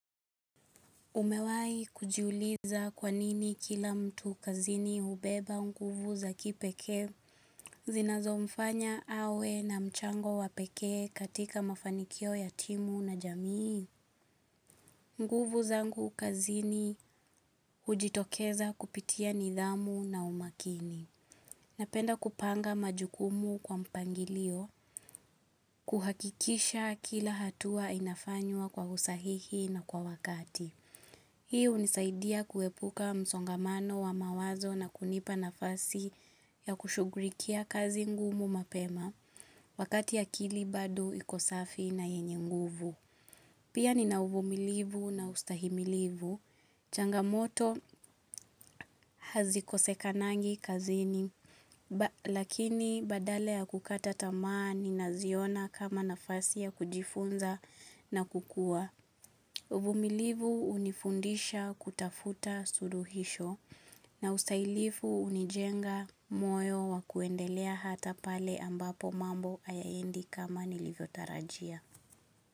Umewahi kujiuliza kwanini kila mtu kazini hubeba nguvu za kipekee zinazo mfanya awe na mchango wapekee katika mafanikio ya timu na jamii. Nguvu zangu kazini hujitokeza kupitia nidhamu na umakini. Napenda kupanga majukumu kwa mpangilio kuhakikisha kila hatua inafanywa kwa usahihi na kwa wakati. Hii hunisaidia kuepuka msongamano wa mawazo na kunipa nafasi ya kushugurikia kazi ngumu mapema wakati akili bado iko safi na yenye nguvu. Pia ni na uvumilivu na ustahimilivu. Changamoto hazikosekanangi kazini lakini badala ya kukata tamaa ninaziona kama nafasi ya kujifunza na kukua. Uvumilivu unifundisha kutafuta suluhisho na usailifu unijenga moyo wa kuendelea hata pale ambapo mambo hayaendi kama nilivyotarajia.